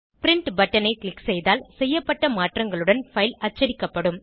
print பட்டனை click செய்தால் செய்யப்பட்ட மாற்றங்களுடன் பைல் அச்சடிக்கப்படும்